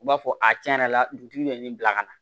U b'a fɔ a tiɲɛ yɛrɛ la dugutigi bɛ nin bila ka na